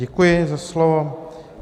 Děkuji za slovo.